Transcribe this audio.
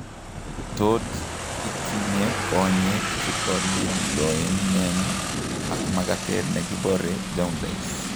Tot itinye konyeek chetolellionen ak makatet nekibore jaundice